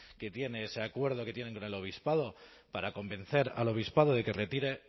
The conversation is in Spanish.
que tiene ese acuerdo que tienen con el obispado para convencer al obispado de que retire